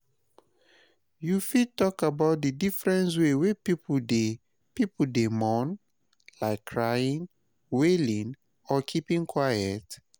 You fit talk about di different ways wey people dey people dey mourn, like crying, wailing, or keeping quiet?